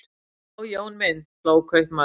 Já, Jón minn, hló kaupmaðurinn.